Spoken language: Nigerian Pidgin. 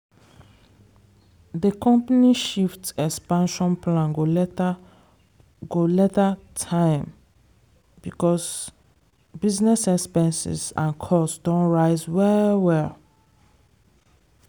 di company shift expansion plan go later go later time because business expenses and costs don rise well well.